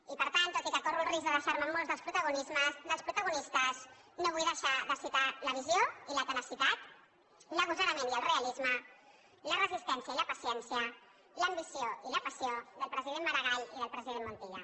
i per tant tot i que corro el risc de deixarme molts dels protagonistes no vull deixar de citar la visió i la tenacitat l’agosarament i el realisme la resistència i la paciència l’ambició i la passió del president maragall i del president montilla